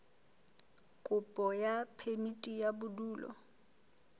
kopo ya phemiti ya bodulo